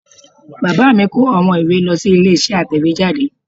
Bàbá mi kó àwọn ìwé lọ sí ilé isé atẹ̀wéjáde